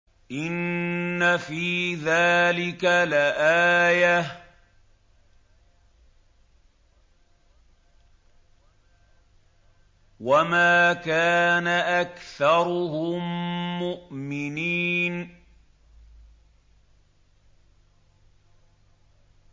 إِنَّ فِي ذَٰلِكَ لَآيَةً ۖ وَمَا كَانَ أَكْثَرُهُم مُّؤْمِنِينَ